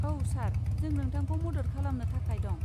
औ सार, जों नोंथांखौ मदद खालामनो थाखाय दं।